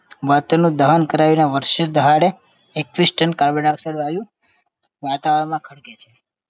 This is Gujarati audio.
માટેનું દહન કરાવીને વર્ષે દહાડે એક ફિશટન carbon dioxide વાયુ વાતાવરણમાં ખડકે છે